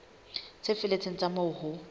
tse felletseng tsa moo ho